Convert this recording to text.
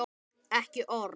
Ekki orð.